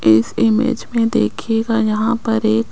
इस इमेज में देखिएगा यहां पर एक--